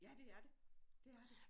Ja det er det det er det